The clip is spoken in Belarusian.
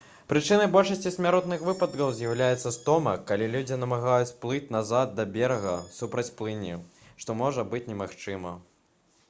прычынай большасці смяротных выпадкаў з'яўляецца стома калі людзі намагаюцца плыць назад да берага супраць плыні што можа быць немагчыма